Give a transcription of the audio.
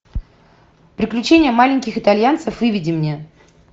приключения маленьких итальянцев выведи мне